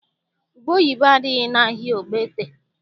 Ubeoyibo adịghị n'ahịa Ogbaete.